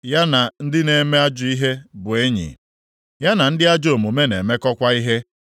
Ya na ndị na-eme ajọ ihe bụ enyi, ya na ndị ajọ omume na-emekọkwa ihe.